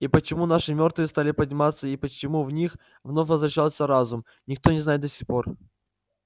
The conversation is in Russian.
и почему наши мёртвые стали подниматься и почему в них вновь возвращается разум никто не знает до сих пор